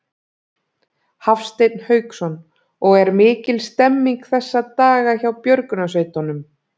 Hafsteinn Hauksson: Og er mikil stemning þessa daga hjá björgunarsveitunum?